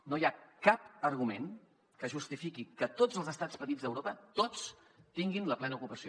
no hi ha cap argument que justifiqui que tots els estats petits d’europa tots tinguin la plena ocupació